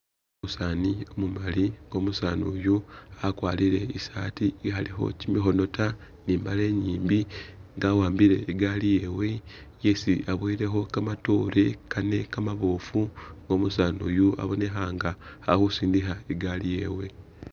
Umusaani umumali nga umusaani uyu akwarire i'saati ikhalikho kimikhono ta ni i'mbale inyimbi nga awambile i'gari yewe isi aboyilekho kamatoore kane kamaboofu nga umusaani uyu abonekha nga ali khusindikha i'gari yewe.